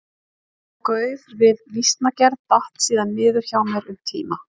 Þetta gauf við vísnagerð datt síðan niður hjá mér um tíma.